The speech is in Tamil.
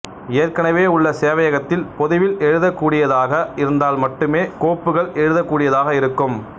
ஏற்கனவே உள்ள சேவையகத்தில் பொதுவில் எழுதக் கூடியதாக இருந்தால் மட்டுமே கோப்புகள் எழுதக் கூடியதாக இருக்கும்